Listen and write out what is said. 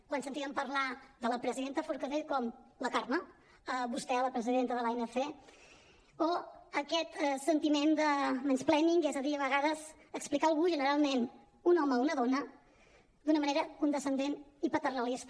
quan sentíem parlar de la presidenta forcadell com la carme vostè la presidenta de l’anc o aquest sentiment de mansplaining és a dir a vegades explicar algú generalment un home a una dona d’una manera condescendent i paternalista